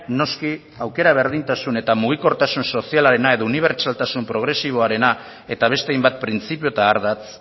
noski aukera berdintasun eta mugikortasun sozialarena edo unibertsaltasun progresiboarena eta beste hainbat printzipio eta ardatz